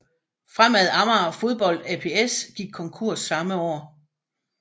Fremad Amager Fodbold ApS gik konkurs samme år